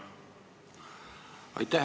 Aitäh!